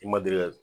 I ma deli ka